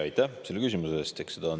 Aitäh selle küsimuse eest!